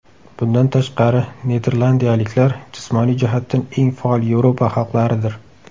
Bundan tashqari niderlandiyaliklar jismoniy jihatdan eng faol Yevropa xalqlaridir.